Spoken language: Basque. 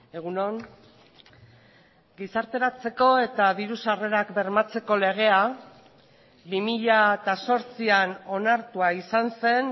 egun on gizarteratzeko eta diru sarrerak bermatzeko legea bi mila zortzian onartua izan zen